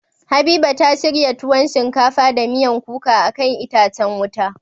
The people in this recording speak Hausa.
Habiba ta shirya tuwon shinkafa da miyan kuka akan itacen wuta.